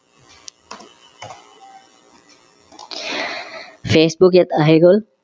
facebook ইয়াত আহি গল